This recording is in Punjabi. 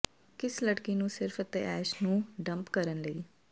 ਕਿਸ ਲੜਕੀ ਨੂੰ ਸਿਰਫ਼ ਅਤੇ ਐਸ਼ ਨੂੰ ਡੰਪ ਕਰਨ ਲਈ